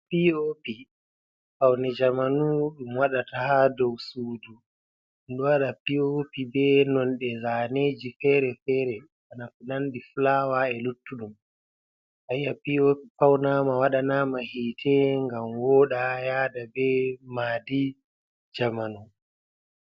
Piopi faune jamanu ɗum wadata ha dou sudu. Waɗa piopi be nolde zaneji fere-fere bana ko nandi fulawa, e luttudum. Ayiya piopi faunama waɗana ma hite ngam woɗa yada be maadi jamanu.